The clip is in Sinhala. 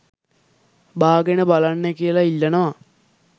බාගෙන බලන්න කියලා ඉල්ලනවා